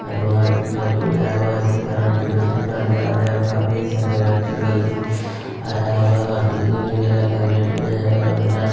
हनुमान जी का पूजा हुआ इसी कारण जुलुष निकालने वाले और काफी सारे बच्चे लोग भी आया हुआ और डिजे वगेरा के वेट मे हैं और डांस --